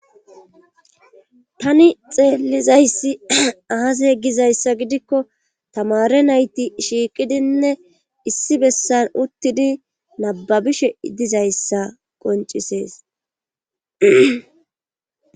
tani xeellizayssi aase ye gizayssa gidikko tamare nayti shiiqidinne issi bessan uttidi nababishe dizayssa qoncisees